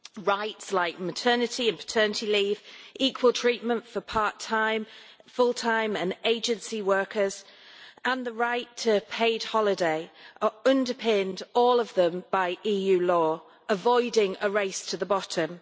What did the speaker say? Rights like maternity and paternity leave, equal treatment for part time, full-time and agency workers and the right to paid holiday are all underpinned by EU law, avoiding a race to the bottom.